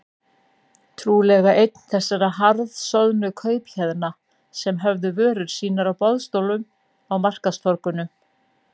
Trúlega einn þessara harðsoðnu kaupahéðna sem höfðu vörur sínar á boðstólum á markaðstorgunum.